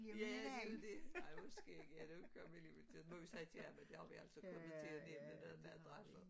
Ja men det jo det ej hvor skægt ja det var godt vi lige fik taget den vi må sige til ham at det har vi altså kommet til at nævne noget med adresser